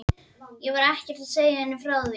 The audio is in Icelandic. Ég var ekkert að segja henni frá því.